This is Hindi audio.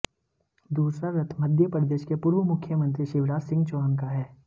दूसरा रथ मध्य प्रदेश के पूर्व मुख्यमंत्री शिवराज सिंह चौहान का है